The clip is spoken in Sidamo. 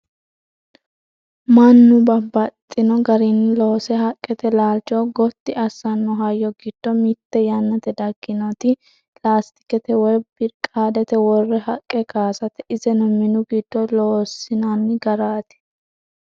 mannu babbaxxino garinni loose haqqete laalcho gotti assanno hayyo giddo mitte yannate dagginoti laastikete woyi birqaadete worre haqqe kaasate iseno minu giddo lossinanni garaati